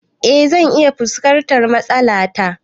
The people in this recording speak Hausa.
Eh zan iya fuskantar matsala ta